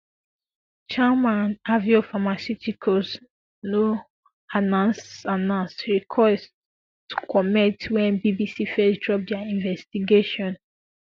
sharma and aveo pharmaceuticals no ansa ansa request to comment wen bbc first drop dia investigation